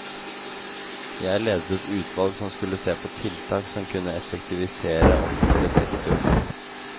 Jeg ledet et utvalg som skulle se på tiltak som kunne effektivisere offentlig sektor.